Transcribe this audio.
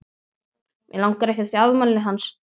Mig langar ekkert í afmælið hans.